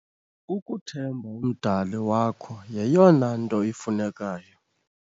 Ukuthemba uMdali wakho yeyona nto ifunekayo.